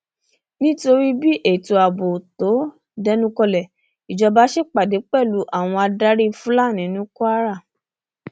nítorí bí ètò ààbò tó dẹnukọlẹ ìjọba ṣèpàdé pẹlú àwọn adarí fúlàní ní kwara